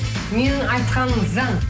менің айтқаным заң